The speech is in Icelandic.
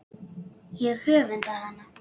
Ég öfunda hana.